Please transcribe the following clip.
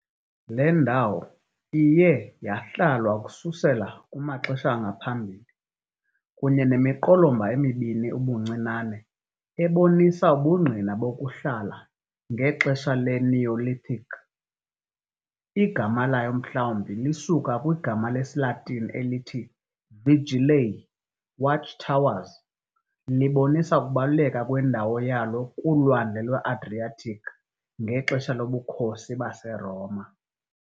Le ndawo iye yahlalwa ukususela kumaxesha angaphambili, kunye nemiqolomba emibini ubuncinane ebonisa ubungqina bokuhlala ngexesha le-Neolithic. Igama layo mhlawumbi lisuka kwigama lesiLatini elithi "vigilae", "watchtowers", libonisa ukubaluleka kwendawo yalo kuLwandle lwe-Adriatic ngexesha loBukhosi baseRoma.